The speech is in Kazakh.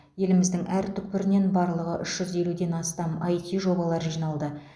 еліміздің әр түкпірінен барлығы үш жүз елуден астам іт жобалар жиналды